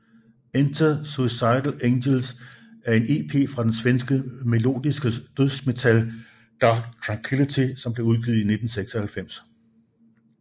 Enter Suicidal Angels er en EP fra det svenske melodiske dødsmetalband Dark Tranquillity som blev udgivet i 1996